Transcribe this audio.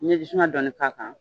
N'i ye jisuman dɔɔnni k'a kan